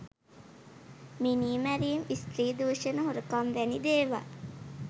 මිනීමැරීම් ස්ත්‍රී දුෂණ හොරකම් වැනි දේවල්.